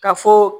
Ka fɔ